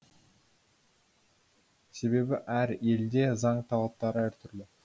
себебі әр елде заң талаптары әртүрлі